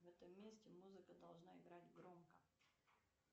в этом месте музыка должна играть громко